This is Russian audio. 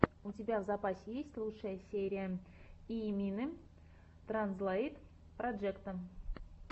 у тебя в запасе есть лучшая серия йимины транзлэйт проджекта